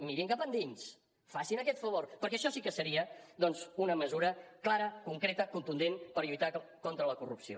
mirin cap endins facin aquest favor perquè això sí que seria doncs una mesura clara concreta contundent per lluitar contra la corrupció